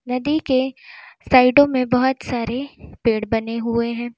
नदी के साइडों में बहुत सारे पेड़ बने हुए हैं।